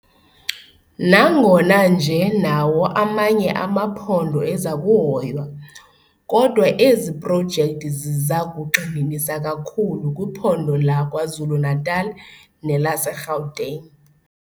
Nangona nje nawo amanye amaphondo eza kuhoywa, kodwa ezi projekthi ziza kugxininisa kakhulu kwiphondo laKwaZulu-Natal nelaseGauteng.